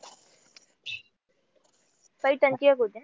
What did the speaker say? पैठण ची एक होती ना?